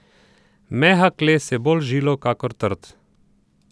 Mehak les je bolj žilav kakor trd.